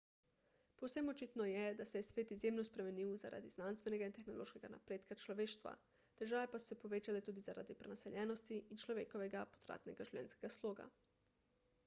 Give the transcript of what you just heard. povsem očitno je da se je svet izjemno spremenil zaradi znanstvenega in tehnološkega napredka človeštva težave pa so se povečale tudi zaradi prenaseljenosti in človekovega potratnega življenjskega sloga